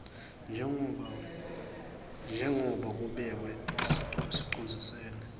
njengoba kubekwe eticondzisweni